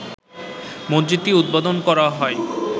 মসজিদটির উদ্বোধন করা হয়